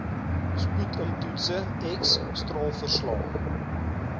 sputumtoetse x straalverslae